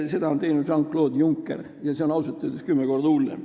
Seda on teinud Jean-Claude Juncker ja see on ausalt öeldes kümme korda hullem.